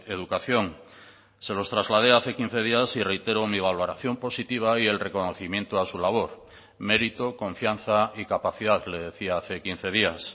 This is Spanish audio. educación se los trasladé hace quince días y reitero mi valoración positiva y el reconocimiento a su labor mérito confianza y capacidad le decía hace quince días